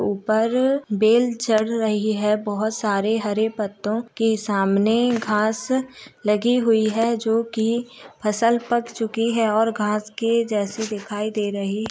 ऊपर बेल चढ़ रही है बहुत सारे हरे पत्तों के सामने घास लगी हुई है जो की फसल पक चुकी है और घास के जैसे दिखाई दे रही --